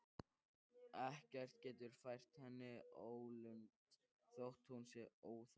Ekkert getur fært henni ólund þótt hún sé óþolinmóð.